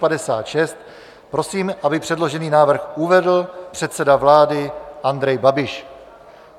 Prosím, aby předložený návrh uvedl předseda vlády Andrej Babiš.